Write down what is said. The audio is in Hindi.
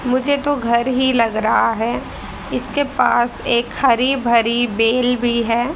मुझे तो घर ही लग रहा रहा है इसके पास एक हरि भरी बेल भी है।